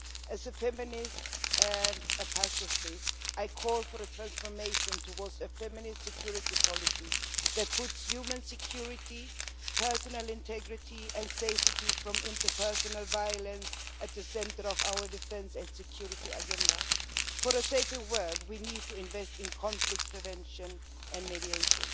As a feminist and a pacifist, I call for a transformation towards a feminist security policy that puts human security, personal integrity and safety from interpersonal violence at the centre of our defence and security agenda. For a safer world we need to invest in conflict prevention and mediation.